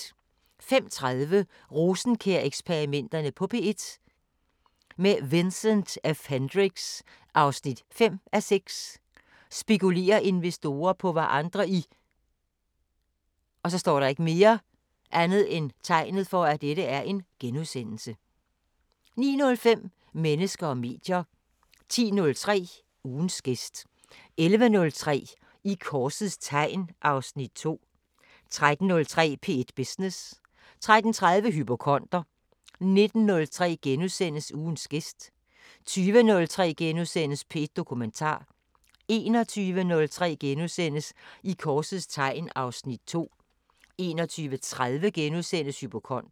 05:30: Rosenkjær-eksperimenterne på P1 – med Vincent F Hendricks: 5:6 Spekulerer investorer på hvad andre i * 09:05: Mennesker og medier 10:03: Ugens gæst 11:03: I korsets tegn (Afs. 2) 13:03: P1 Business 13:30: Hypokonder 19:03: Ugens gæst * 20:03: P1 Dokumentar * 21:03: I korsets tegn (Afs. 2)* 21:30: Hypokonder *